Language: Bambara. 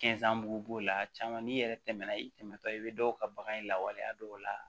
b'o la caman n'i yɛrɛ tɛmɛna i tɛmɛtɔ i bɛ dɔw ka bagan lawaleya dɔw la